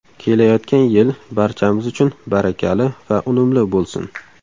Kelayotgan yil barchamiz uchun barakali va unumli bo‘lsin.